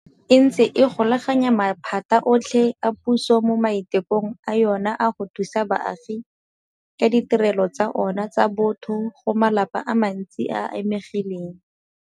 E ntse e golaganya maphata otlhe a puso mo maitekong a yona a go thusa baagi ka ditirelo tsa ona tsa botho go malapa a mantsi a a amegileng.